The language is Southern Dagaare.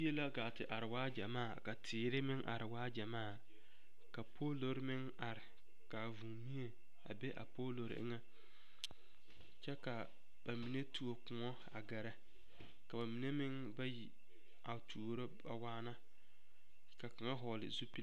Yie la gaa are waa gyamaa ka teere meŋ are waa gyamaa ka poolori meŋ are ka vūūmie a be a poolori eŋɛ kyɛ ka ba mine tuo koɔ a gɛrɛ ka ba mine meŋ bayi a tuoro a waana ka kaŋa hɔgle zupili.